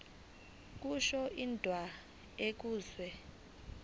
kusho indawo enikezwe